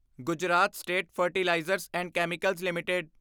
Gujarat state fertilizers and chemicals LTD